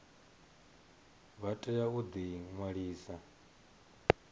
vha tea u ḓi ṅwalisa